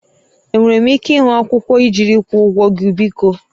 Enwere m ike ịhụ akwụkwọ ijiri ịkwụọ ụgwọ gị biko?